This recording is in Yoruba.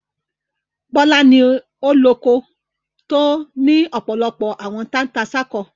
Bọ́lá ni ó loko tí ó ní ọ̀pọ̀lọpọ̀ àwọn tata-n-sánkọ.